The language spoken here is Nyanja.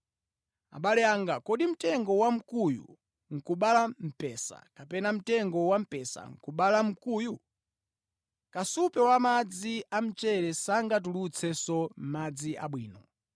Abale anga, kodi mtengo wa mkuyu nʼkubala mphesa, kapena mtengo wampesa nʼkubala nkhuyu? Kasupe wa madzi a mchere sangatulutsenso madzi abwino.